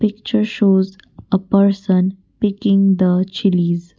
picture shows a person picking the chillies.